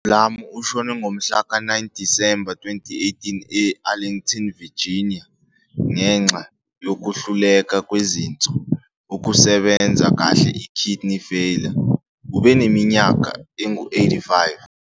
UBlum ushone ngomhla ka 9 Disemba, 2018 e-Arlington, Virginia ngenxa yokuhluleka kwezinso ukusebenza kahle i-kidney failure ubeneminyaka engu 85